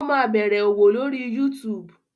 Ó máa bẹ̀rẹ̀ òwò lórí YouTube.